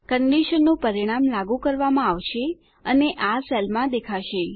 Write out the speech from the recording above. કન્ડીશનનું પરિણામ લાગું કરવામાં આવશે અને આ સેલમાં દેખાશે